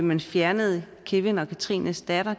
man fjernede kevin og catrines datter